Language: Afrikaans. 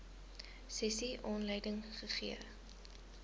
sessie aanleiding gegee